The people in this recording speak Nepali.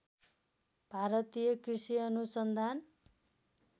भारतीय कृषि अनुसन्धान